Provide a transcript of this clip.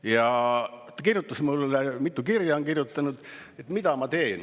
Ja ta kirjutas mulle, mitu kirja on kirjutanud, et küsida, mida ta teeb.